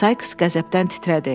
Sais qəzəbdən titrədi.